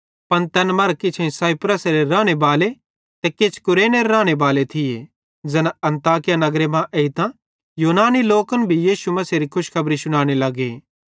पन तैन मरां किछ साइप्रसेरे रानेबाले ते किछ कुरेनेरे रानेबाले थिये ज़ैना अन्ताकिया नगरे मां एइतां यूनानी लोकन भी प्रभु यीशु मसीहेरी खुशखबरी शुनाने लगे